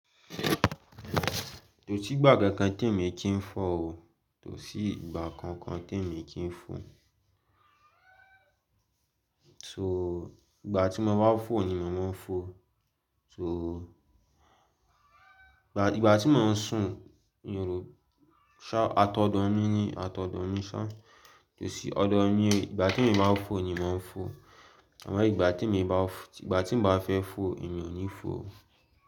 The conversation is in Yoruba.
Kosí ìgbà kankan tí èmi jì í four o. Tòsí ìgbà kankan tí èmi kì í fọ̀. So, ìgbà tí mo bá fọ̀ ni màá fọ̀. So, ìgbà tí mò ń sùn, irò, ṣá, atọ̀dọ̀ mi ni, atọ̀dọ̀ mi ṣá. Èsì ọ̀dọ̀ ni, ìgbà tí èmi máa fọ̀ ni máa n fọ̀. Àmọ́ ìgbà tí èmi bá fọ̀, ìgbà tí n bá fẹ́ fọ̀, èmi ò ní fọ̀ o.